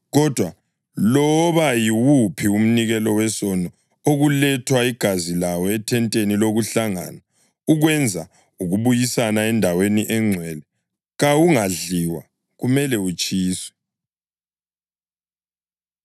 Kodwa loba yiwuphi umnikelo wesono okulethwa igazi lawo ethenteni lokuhlangana ukwenza ukubuyisana eNdaweni eNgcwele kawungadliwa kumele utshiswe.’ ”